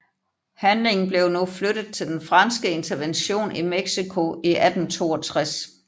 Handlingen blev nu flyttet til den franske intervention i Mexico i 1862